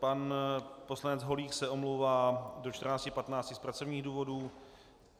Pan poslanec Holík se omlouvá do 14.15 z pracovních důvodů.